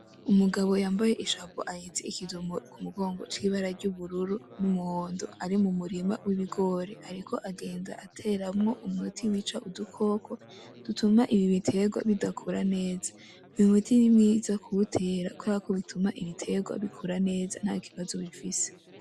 Umugabo yambaye ishapo ahetse ikintu k'umugongo c'ibara ry'ubururu n'umuhondo ari m'umurima w'ibigori ariko agenda ateramwo umuti wica udukoko dutuma ibi biterwa bitamera neza, uwo muti ni mwiza kuwutera kuberako bituma Ibiterwa bikura neza atakibazo bifise.